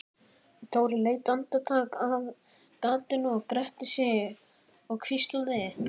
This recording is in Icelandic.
Dóri leit andartak af gatinu, gretti sig og hvíslaði